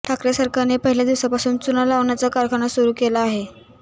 ठाकरे सरकारने पहिल्या दिवसापासून चुना लावण्याचा कारखाना सुरु केला आहे